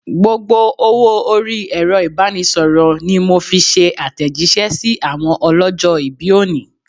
Gbogbo owó orí Ẹ̀rọ ibanisoro ni mo fi ṣe atejise sí àwọn ọlọ́jọ̀-ibi òní.